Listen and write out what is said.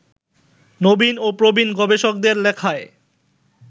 নবীন ও প্রবীণ গবেষকদের লেখায়